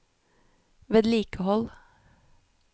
vedlikehold